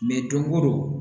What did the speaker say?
don o don